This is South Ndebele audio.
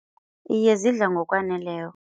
Iye, zidla ngokwaneleko.